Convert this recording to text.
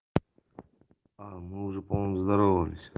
а мы уже по-моему здоровались